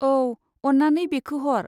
औ, अन्नानै बेखो हर।